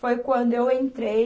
Foi quando eu entrei,